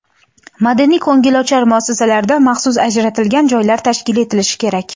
madaniy-ko‘ngilochar muassasalarda maxsus ajratilgan joylar tashkil etilishi kerak.